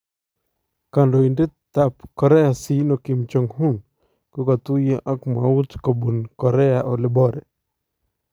Kandoindetab Korea siino Kim jong-un kokatuyoo ak mwawuut kobuun Korea oleboore